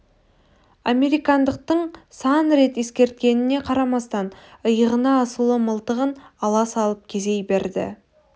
американдықтың сан рет ескерткеніне қарамастан иығына асулы мылтығын ала салып кезей берді